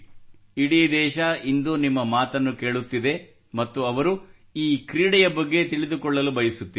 ಇಡೀ ದೇಶವು ಇಂದು ನಿಮ್ಮ ಮಾತನ್ನು ಕೇಳುತ್ತಿದೆ ಮತ್ತು ಅವರು ಈ ಕ್ರೀಡೆಯ ಬಗ್ಗೆ ತಿಳಿದುಕೊಳ್ಳಲು ಬಯಸುತ್ತಾರೆ